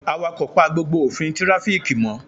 Awakọ̀ pa gbogbo òfin tirafiki mo